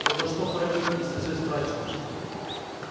но на что хоронить если всё истрачено